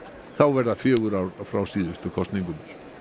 þá verða fjögur ár frá síðustu kosningum